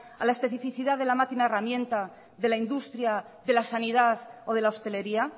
a la especificidad de la máquina herramienta de la industria de la sanidad o de la hostelería